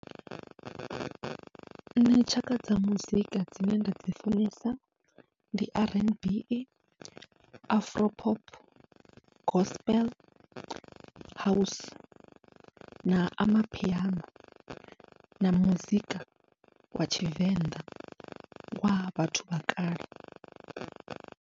Nṋe tshaka dza muzika dzine nda dzi funesa ndi R N B, afro pop, gospel house na amapiano na muzika wa tshivenḓa wa vhathu vha kale.